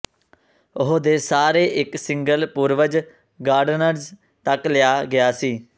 ਉਹ ਦੇ ਸਾਰੇ ਇੱਕ ਸਿੰਗਲ ਪੂਰਵਜ ਗਾਰਡਨਰਜ਼ ਤੱਕ ਲਿਆ ਗਿਆ ਸੀ